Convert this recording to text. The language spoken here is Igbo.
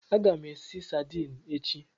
Aga m esi sadini echi.